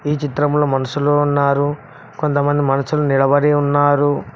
ఈ చిత్రంలో మనషులు ఉన్నారు కొంతమంది మనుషులు నిలబడి ఉన్నారు.